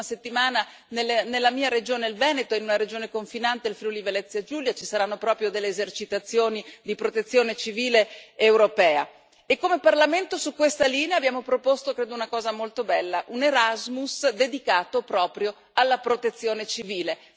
La prossima settimana nella mia regione, il Veneto, e in una regione confinante, il Friuli Venezia Giulia, ci saranno proprio delle esercitazioni di Protezione civile europea e, come Parlamento, su questa linea abbiamo proposto credo una cosa molto bella, un Erasmus dedicato proprio alla Protezione civile.